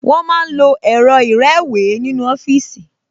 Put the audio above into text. Wọ́n máa ń lo ẹ̀rọ ìrẹ́wèé nínú ọfíìsì